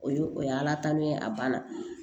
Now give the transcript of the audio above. O ye o y'ala ta ne a banna